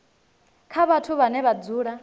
kha vhathu vhane vha dzula